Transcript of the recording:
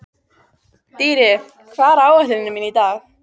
Dýri, hvað er á áætluninni minni í dag?